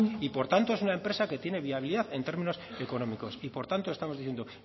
y por tanto es una empresa que tiene viabilidad en términos económicos y por tanto estamos diciendo